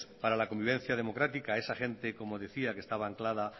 para la convivencia democrática a esa gente como decía que estaba anclada